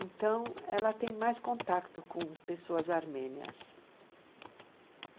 Então, ela tem mais contato com pessoas armênias.